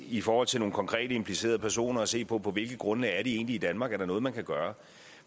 i forhold til nogle konkrete implicerede personer at se på på hvilket grundlag er de egentlig i danmark er der noget man kan gøre